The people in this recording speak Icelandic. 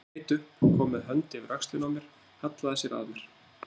Hann leit upp, kom með hönd yfir öxlina á mér, hallaði sér að mér.